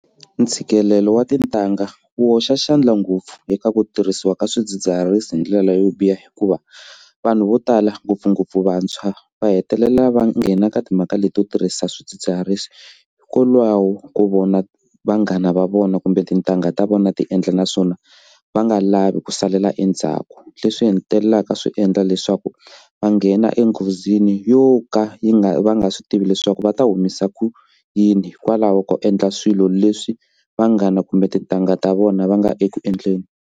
Ntshikelelo wa tintangha wu hoxa xandla ngopfu eka ku tirhisiwa ka swidzidziharisi hi ndlela yo biha hikuva vanhu vo tala ngopfungopfu vantshwa va hetelela va nghena ka timhaka leti yo tirhisa swidzidziharisi hikwalaho ko vona vanghana va vona kumbe tintangha ta vona ti endla naswona va nga lavi ku salela endzhaku leswi hetelelaka swi endla leswaku va nghena enghozini yo ka yi nga va nga swi tivi leswaku va ta humesa ku yini hikwalaho ko endla swilo leswi vanghana kumbe tintangha ta vona va nga eku endleni.